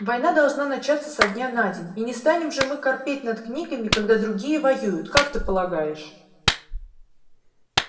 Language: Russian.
война должна начаться со дня на день и не станем же мы корпеть над книгами когда другие воюют как ты полагаешь